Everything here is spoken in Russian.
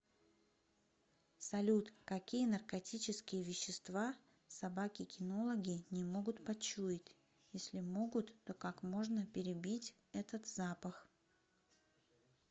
салют какие наркотические вещества собаки кинологи не могут почуять если могут то как можно перебить этот запах